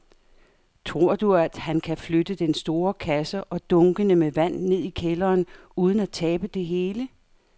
Tror du, at han kan flytte den store kasse og dunkene med vand ned i kælderen uden at tabe det hele?